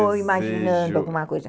Ou imaginando alguma coisa.